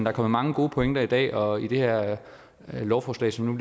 er kommet mange gode pointer i dag og i det her lovforslag som